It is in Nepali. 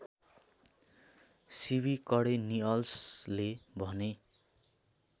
सिविकडेनिअल्सले भने